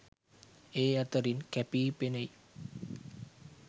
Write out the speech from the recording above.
ඒ අතරින් කැපී පෙනෙයි.